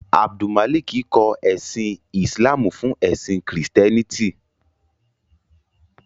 Abdulmalik kọ ẹ̀sìn Islamú fún ẹ̀sìn Kristiẹ́nìtì.